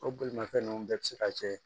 O bolimanfɛn nunnu bɛɛ bi se ka kɛ